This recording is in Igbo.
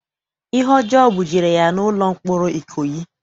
Ihe ọjọọ bujere ya n'ụlọ mkpọrọ Ikoyi.